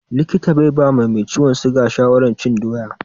Likita bai ba mai ciwon siga shawarar cin doya.